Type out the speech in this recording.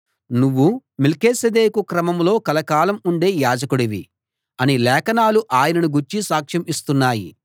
నువ్వు మెల్కీసెదెకు క్రమంలో కలకాలం ఉండే యాజకుడివి అని లేఖనాలు ఆయనను గూర్చి సాక్ష్యం ఇస్తున్నాయి